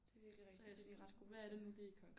Det er virkelig rigtigt det er de ret gode til